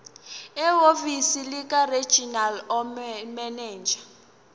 ehhovisi likaregional manager